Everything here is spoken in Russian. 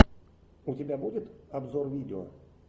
у тебя будет обзор видео